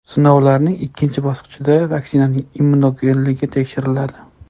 Sinovlarning ikkinchi bosqichida vaksinaning immunogenligi tekshiriladi.